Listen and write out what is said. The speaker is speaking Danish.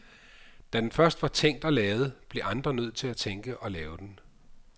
Da den først var tænkt og lavet, blev andre nødt til at tænke og lave den.